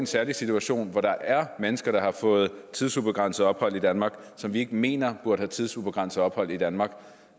særlig situation hvor der er mennesker der har fået tidsubegrænset ophold i danmark som vi ikke mener burde have tidsubegrænset ophold i danmark